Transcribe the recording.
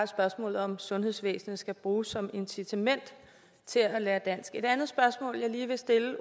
spørgsmålet om sundhedsvæsenet skal bruges som et incitament til at lære dansk et andet spørgsmål jeg lige vil stille